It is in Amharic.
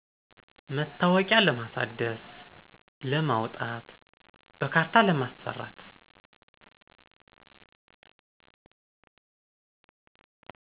መታወቂያ ለማሳደስ፣ ለማውጣት፣ በካርታ ለማሰራት።